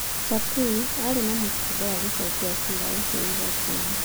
Charqui arĩ na mũbango wa gũcokia cira ũcio igooti-inĩ.